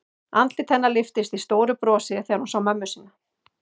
Andlit hennar lyftist í stóru brosi þegar hún sá mömmu sína.